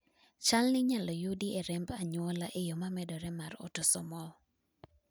chalni inyalo yudi e remb anyuola e yoo ma medore mar autosomal